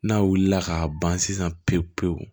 N'a wulila ka ban sisan pewu-pewu